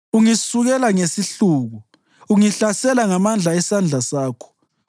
Ungisukela ngesihluku; ungihlasela ngamandla esandla sakho.